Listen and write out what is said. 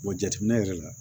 jateminɛ yɛrɛ la